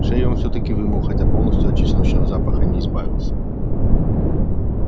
шею он всё-таки вымыл хотя полностью от чесночного запаха не избавился